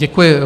Děkuji.